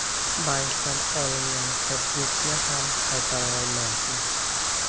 Bankdan olingan kreditni ham qaytara olmayapmiz.